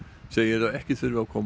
segir að ekki þurfi að koma